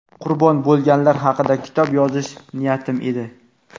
qurbon bo‘lganlar haqida kitob yozish niyatim edi.